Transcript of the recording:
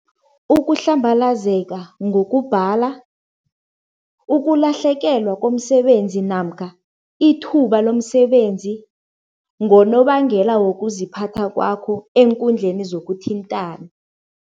Ukuhlambalazeka ngokubhala, ukulahlekelwa komsebenzi namkha ithuba lomsebenzi ngonobangela wokuziphatha kwakho eenkundleni zokuthintana.